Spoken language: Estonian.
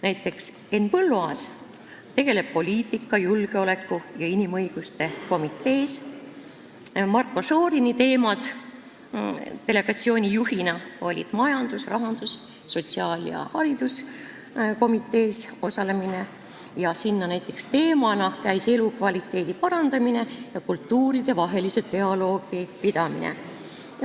Näiteks, Henn Põlluaas tegutseb poliitika, julgeoleku ja inimõiguste komitees, Marko Šorini töö delegatsiooni juhina oli majandus-, rahandus-, sotsiaal- ja hariduskomitees osalemine, sealsed teemad olid näiteks elukvaliteedi parandamine ja kultuuridevahelise dialoogi pidamine.